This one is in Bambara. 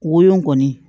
Woyo kɔni